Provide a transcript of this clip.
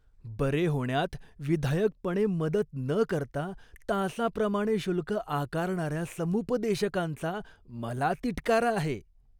बरे होण्यात विधायकपणे मदत न करता तासाप्रमाणे शुल्क आकारणाऱ्या समुपदेशकांचा मला तिटकारा आहे.